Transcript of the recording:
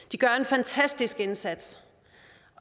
de gør en fantastisk indsats